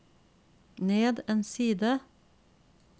ned en side